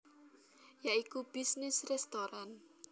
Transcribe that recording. Ya iku bisnis restoran